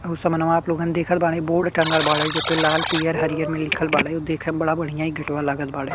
उ सामानवा आप लोगन देखत बाड़े बोर्ड टंगल बाड़े जे पे लाल पियर हरिहर में लिखल बाड़े उ देखे में बड़ा बढ़ियां इ गेटवा लागल बाड़े।